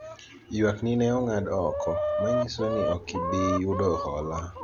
ywak ni ne ong'ad oko ,manyiso ni ok ibi yudo hola